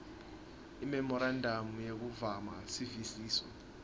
imemorandamu yekumaka sivisiso